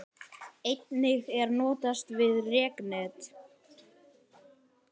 Einnig er notast við reknet.